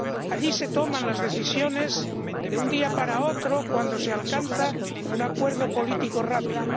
Allí se toman las decisiones de un día para otro cuando se alcanza un acuerdo político rápido.